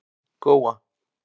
Góa